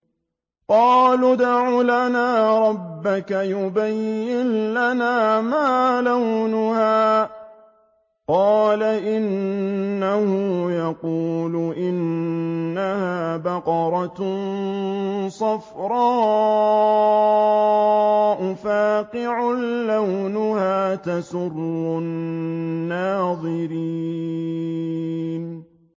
قَالُوا ادْعُ لَنَا رَبَّكَ يُبَيِّن لَّنَا مَا لَوْنُهَا ۚ قَالَ إِنَّهُ يَقُولُ إِنَّهَا بَقَرَةٌ صَفْرَاءُ فَاقِعٌ لَّوْنُهَا تَسُرُّ النَّاظِرِينَ